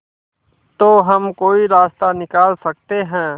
तो हम कोई रास्ता निकाल सकते है